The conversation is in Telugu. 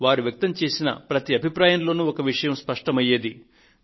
వారు వ్యక్తం చేసిన ప్రతి అభిప్రాయంలోను ఒక విషయం స్పష్టమయ్యేది